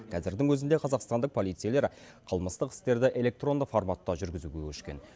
қазірдің өзінде қазақстандық полицейлер қылмыстық істерді электронды форматта жүргізуге көшкен